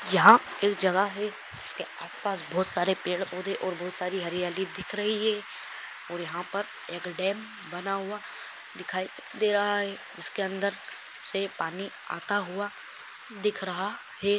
यहा एक जगह है उसके आस पास बहुत सारे पेड़ पोधे और बहुत सारी हरियाली दिख रही है और यहा पर एक डैम बना हुआ दिखाई दे रहा है इसके अंदरसे पानी आता हुआ दिख रहा है।